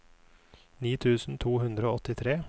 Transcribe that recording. ni tusen to hundre og åttitre